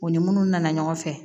U ni munnu nana ɲɔgɔn fɛ